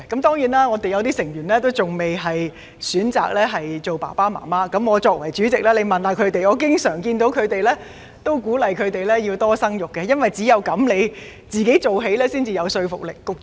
當然，我們有些成員仍未選擇做父母，而我作為主席，亦經常鼓勵他們要多生育，因為只有由自己做起，才有說服力。